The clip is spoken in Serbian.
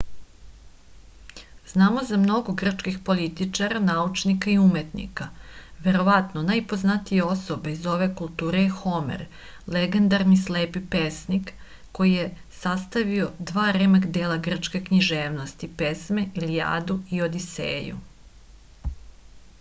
znamo za mnogo grčkih političara naučnika i umetnika verovatno najpoznatija osoba iz ove kulture je homer legendarni slepi pesnik koji je sastavio dva remek-dela grčke književnosti pesme ilijadu i odiseju